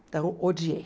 Então, odiei.